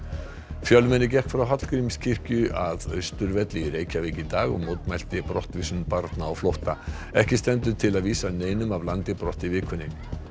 fjölmenni gekk frá Hallgrímskirkju að Austurvelli í Reykjavík í dag og mótmælti brottvísun barna á flótta ekki stendur til að vísa neinum af landi brott í vikunni